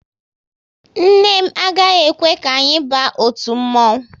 Nne m agaghị ekwe ka anyị ba otu mmonwu